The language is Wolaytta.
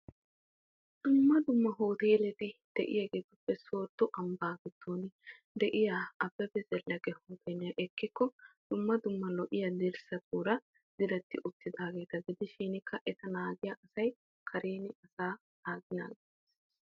Dumma dumma hootelettuppe soodon Abebe zeleke hooteliya ekkikko daro miyonne uyiyo qassikka alaxxiyo sohotti de'osonna.